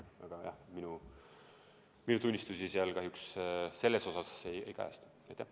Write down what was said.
Aga jah, minu tunnistusi selles osas seal kahjuks ei kajastu.